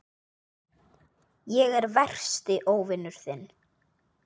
Ég er versti óvinur þinn.